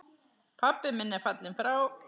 Pabbi minn er fallinn frá.